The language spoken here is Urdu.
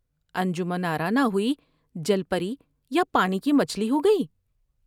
انجمن آرا نہ ہوئی جل پری یا پانی کی مچھلی ہوگئی ۔